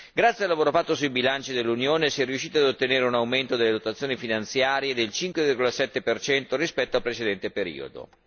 Grazie al lavoro fatto sui bilanci dell'Unione si è riusciti ad ottenere un aumento delle dotazioni finanziarie del 5,7 rispetto al precedente periodo.